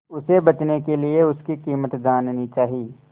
उसे बचने के लिए उसकी कीमत जाननी चाही